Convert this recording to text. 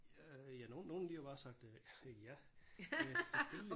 Øh ja nogen de har jo bare sagt øh ja øh selvfølgelig